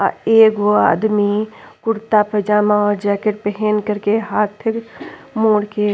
आ एगो आदमी कुर्ता पजामा और जैकेट पेहेन कर के हाथ मोड़ के --